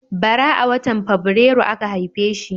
Bara a watan Fabrairu aka haife shi.